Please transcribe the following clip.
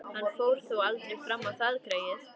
Hann fór þó aldrei fram á það, greyið.